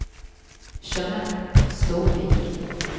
Jeanette Storvik